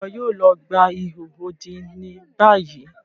Ṣe iwọ yoo lọ gba iho odi ni bayi?